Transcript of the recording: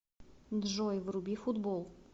джой вруби футбол